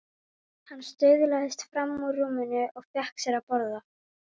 Hann staulaðist fram úr rúminu og fékk sér að borða.